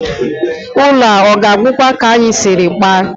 Ụlọ a ọ ga-agwụkwa ka anyị siri kpaa?